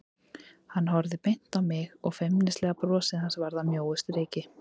Hann horfði beint á mig og feimnislega brosið hans varð að mjóu striki.